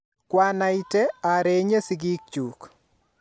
kwanaita arenye sigik chuk